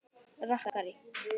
Gaui rakari.